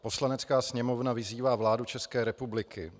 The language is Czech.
"Poslanecká sněmovna vyzývá vládu České republiky